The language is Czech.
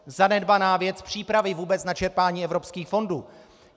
Zanedbaná věc - přípravy vůbec na čerpání evropských fondů.